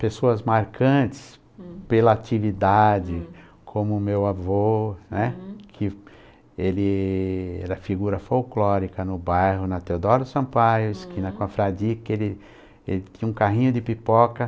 Pessoas marcantes uhum, pela atividade, hm, como o meu avô, né, hm, que era figura folclórica no bairro, na Teodoro Sampaio, na Esquina Confradi, todo, que ele tinha um carrinho de pipoca.